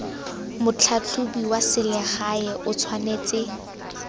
motlhatlhobi wa selegae o tshwanetse